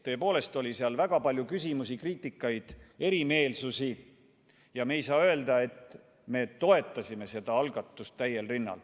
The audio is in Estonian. Tõepoolest oli väga palju küsimusi, kriitikat, erimeelsusi ja me ei saa öelda, et toetasime seda algatust täiel rinnal.